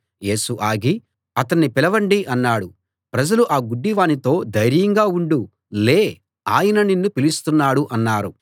యేసు ఆగి అతణ్ణి పిలవండి అన్నాడు ప్రజలు ఆ గుడ్డివానితో ధైర్యంగా ఉండు లే ఆయన నిన్ను పిలుస్తున్నాడు అన్నారు